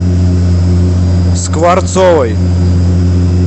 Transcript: скворцовой